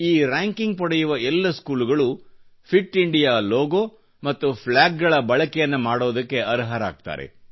ಈ ರ್ಯಾಂಕಿಂಗ್ ಪಡೆಯುವ ಎಲ್ಲ ಸ್ಕೂಲುಗಳು ಫಿಟ್ ಇಂಡಿಯಾ ಲೋಗೊ ಮತ್ತು ಪ್ಲ್ಯಾಗ್ಗಳ ಬಳಕೆಯನ್ನು ಮಾಡಲು ಅರ್ಹರಾಗುತ್ತಾರೆ